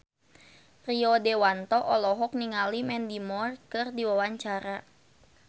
Rio Dewanto olohok ningali Mandy Moore keur diwawancara